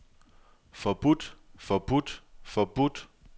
forbudt forbudt forbudt